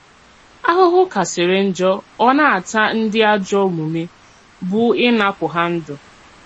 Àhụ̀hụ̀ kàsìrì njọ̀ ọ na-àtà ndí àjọ̀ òmùmè bụ́ ínàpụ̀ hà ndú.